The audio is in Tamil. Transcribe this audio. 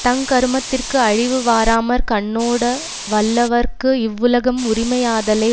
தங்கருமத்திற்கு அழிவு வாராமற் கண்ணோட வல்லவர்க்கு இவ்வுலகம் உரிமையாதலை